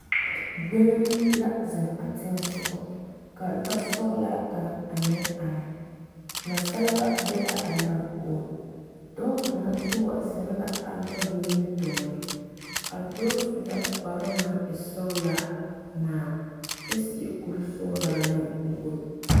Gbeni la zeŋ a teŋa soɔ ka lɔsɔglaa kaŋ a meŋ are nasaleba be la a lɔɛ poɔ dɔɔ kaŋ yi wa zeŋ la a lɔɛ nimitɔɔreŋ a dɔɔ su la kparoo naŋ e sɔgelaa ŋmaa kyɛ seɛ kuri meŋ wogi